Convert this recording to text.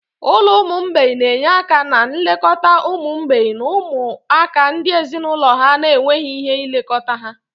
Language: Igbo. Ụlọ ụmụ mgbei na-enye aka na nlekọta ụmụ mgbei na ụmụaka ndị ezinụlọ ha na-enweghị ike ilekọta ha.